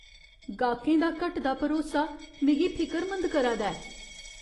गाह्कें दा घटदा भरोसा मिगी फिकरमंद करै दा ऐ ।